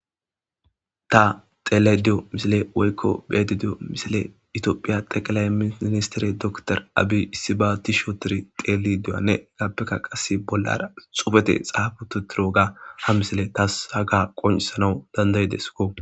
Ta xele diyo misile woykko beedediyo misile itoophiya teqalay ministere doktor abi issi ba tishootor xeeli duyanne gaappeka qas bollara xufete xaabututiro ga ha misile tas haga qonisanawu dandayidesko.